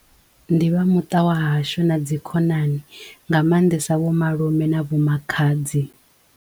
Ndi vha muṱa wa hashu na dzi khonani nga maanḓesa vho malume na vho makhadzi.